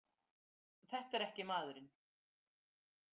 Þetta er ekki maðurinn!